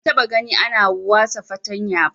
Ban taba gani ana wasa fartanya ba